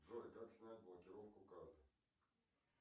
джой как снять блокировку карт